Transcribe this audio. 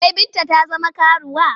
Wai Binta ta zama karuwa?